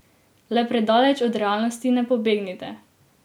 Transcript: Le predaleč od realnosti ne pobegnite.